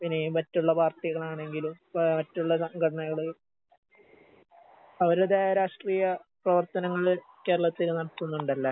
പിന്നെ ഈ മറ്റുള്ള പാർട്ടികളാണെങ്കിലും ഇപ്പേ മറ്റുള്ള സംഘടനകള് അവര്തായ രാഷ്ട്രീയ പ്രവർത്തനങ്ങള് കേരളത്തിൽ നടത്തുന്നുണ്ടല്ലേ?